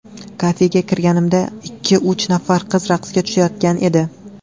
Kafega kirganimda ikki-uch nafar qiz raqsga tushayotgan edi.